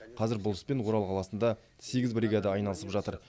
қазір бұл іспен орал қаласында сегіз бригада айналысып жатыр